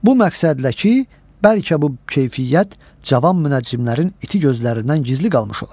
Bu məqsədlə ki, bəlkə bu keyfiyyət cavan münəccimlərin iti gözlərindən gizli qalmış olar.